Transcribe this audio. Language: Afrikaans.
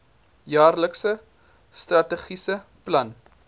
jaarlikse strategiese plan